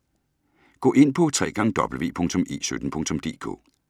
Gå ind på www.e17.dk